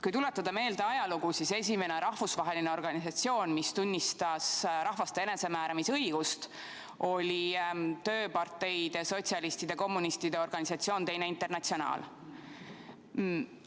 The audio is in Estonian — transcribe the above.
Kui tuletada meelde ajalugu, siis esimene rahvusvaheline organisatsioon, kes tunnustas rahvaste enesemääramisõigust, oli tööparteide, sotsialistide ja kommunistide organisatsioon Teine Internatsionaal.